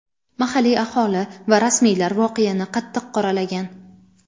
Mahalliy aholi va rasmiylar voqeani qattiq qoralagan.